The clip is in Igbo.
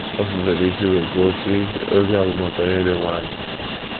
O fufere isi wee kwuo, sị: “ Ozi a bụ maka onye dị nwayọọ.